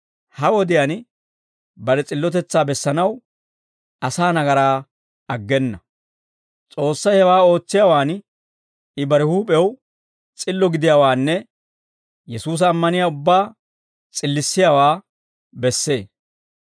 ha wodiyaan bare s'illotetsaa bessanaw asaa nagaraa aggena; S'oossay hewaa ootsiyaawaan I bare huup'ew s'illo gidiyaawaanne Yesuusa ammaniyaa ubbaa s'illissiyaawaa bessee.